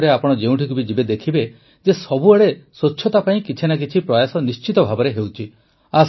ଭାରତରେ ଆପଣ ଯେଉଁଠିକୁ ବି ଯିବେ ଦେଖିବେ ଯେ ସବୁଆଡ଼େ ସ୍ୱଚ୍ଛତା ପାଇଁ କିଛି ନା କିଛି ପ୍ରୟାସ ନିଶ୍ଚିତ ଭାବେ ହେଉଛି